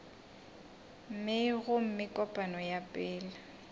mei gomme kopano ya pele